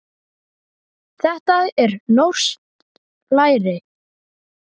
Þetta er norskt læri.